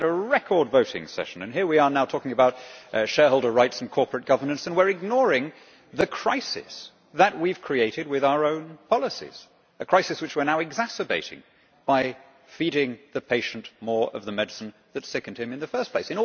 We have had a record voting session, and here we are now talking about shareholder rights and corporate governance and ignoring the crisis that we have created with our own policies a crisis which we are now exacerbating by feeding the patient more of the medicine that sickened him in the first place.